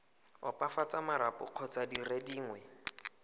opafatsa marapo kgotsa dire dingwe